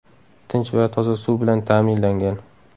Tinch va toza suv bilan ta’minlangan.